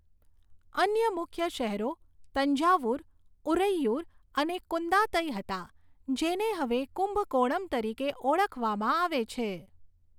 અન્ય મુખ્ય શહેરો તંજાવુર, ઉરૈયુર અને કુદાંતઈ હતા, જેને હવે કુંભકોણમ તરીકે ઓળખવામાં આવે છે.